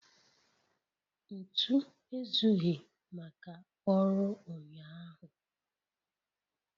Ntu ezughị maka ọrụ ụnyaahụ